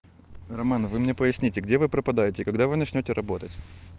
роман вы мне проясните где вы пропадаете когда вы начнёте работать